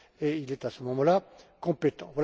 Il est, à ce moment là, compétent.